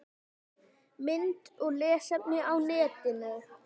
Mynd og lesefni á netinu